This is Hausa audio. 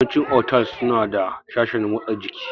Yawanci otals suna da sashen motsa jiki